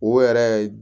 O yɛrɛ